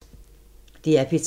DR P3